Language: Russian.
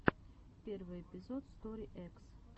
первый эпизод стори экс